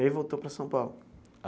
E aí voltou para São Paulo?